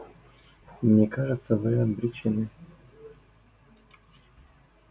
мне кажется вы обречены